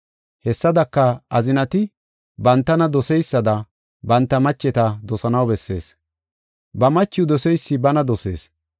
Hessadaka, azinati bantana doseysada banta macheta dosanaw bessees. Ba machiw doseysi bana dosees.